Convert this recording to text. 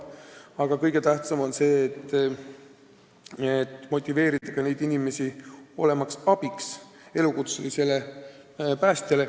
Aga kõige tähtsam on motiveerida neid inimesi olema abiks elukutselistele päästjatele.